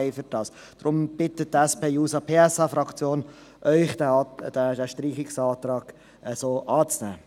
Deshalb bittet Sie die SP-JUSO-PSA-Fraktion, diesen Streichungsantrag so anzunehmen.